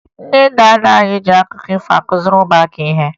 Ndị nna nna anyị ji akụkọ ifo kụziere ụmụaka ihe